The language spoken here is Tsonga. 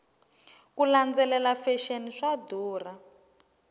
ku landzelela fexeni swa durha